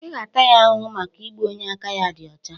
"Ị ga-ata ya ahụhụ maka igbu onye aka ya dị ọcha"